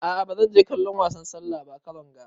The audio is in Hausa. A'a ba zan je kallon wasan sallah ba karon ga.